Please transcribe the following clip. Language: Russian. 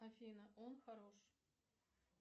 афина он хорош